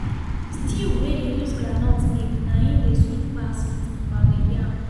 stew wey dey use groundnut make na im dey sweet pas with pounded yam